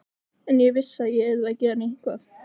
En ég vissi að ég yrði að gera eitthvað.